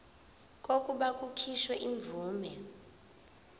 kokuba kukhishwe imvume